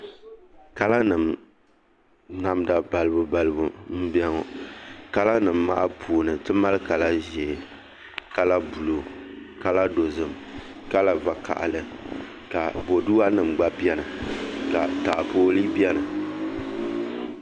Kala nim namda balibu balibu n biɛni ŋɔ kala nim maa puuni ti mali kala ʒiɛ kala buluu kala dozim kala vakaɣali ka boduwa nim gba biɛni ka taapooli biɛni